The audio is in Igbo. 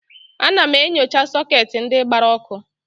Ana m enyocha sọketi ndị gbara ọkụ.